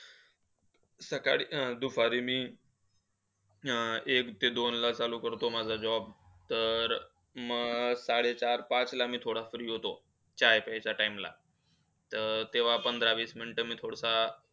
सकाळी, दुपारी मी, अह एक ते दोन ला चालू करतो, तो माझा job. तर अं साडेचार पाच ला मी थोडा free होतो. चाय प्यायचा time ला. तर तेव्हा दहा पंधरा minutes मी थोडासा,